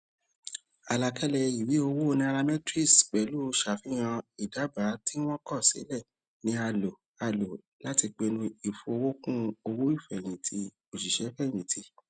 àlàkalẹ ìwé owó nairametrics pẹlú ṣàfihàn ìdábàá tí wọn kò ṣàlàyé ni a lò a lò láti pinnu ìfowókún owóìfẹyìntì òṣìṣẹfẹyìntì